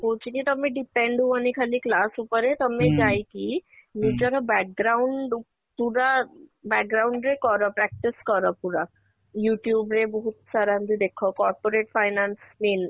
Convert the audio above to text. କହୁଛି କି ତମେ depend ହୁଅନି ଖାଲି class ଉପରେ ତମେ ଯାଇକି ନିଜର ଉ ପୁରା ରେ କର practice କର ପୁରା YouTube ରେ ବହୁତ ସାରା ଏମିତି ଦେଖ corporate finance mean